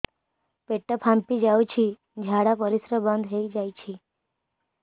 ପେଟ ଫାମ୍ପି ଯାଉଛି ଝାଡା ପରିଶ୍ରା ବନ୍ଦ ହେଇ ଯାଉଛି